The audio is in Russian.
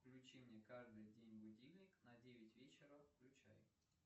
включи мне каждый день будильник на девять вечера включай